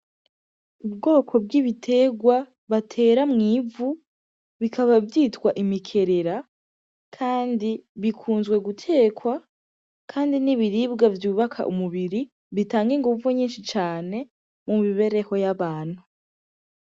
Ubwoko bw'ibiterwa batera mw'ivu bikaba bivyitwa imikerera, kandi bikunzwe gutekwa, kandi n'ibiribwa vyubaka umubiri, bitanga inguvu nyinshi cane mu mibereho y'abantu.